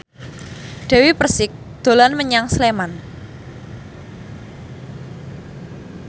Dewi Persik dolan menyang Sleman